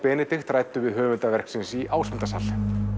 ræddi við höfunda verksins í Ásmundarsal